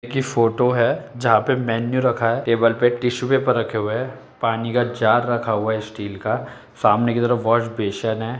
की फोटो है जहां पे मेन्यू रखा है। टेबल पर एक टिशू पेपर रखे हुए हैं। पानी का जार रखा हुआ है स्टील का सामने की तरफ वॉश बेसिन है।